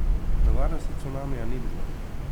Nevarnosti cunamija ni bilo.